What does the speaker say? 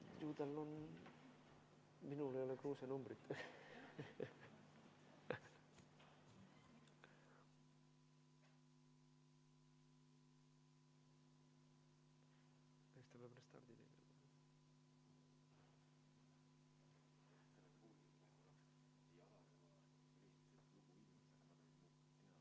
... juba 97. aastal esimest korda ...